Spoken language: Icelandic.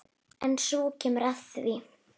En svo kemur að því.